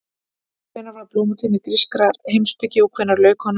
Hvenær var blómatími grískrar heimspeki og hvenær lauk honum?